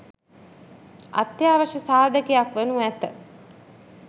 අත්‍යවශ්‍ය සාධකයක් වනු ඇත